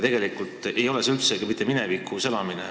Tegelikult ei ole see üldsegi mitte minevikus elamine.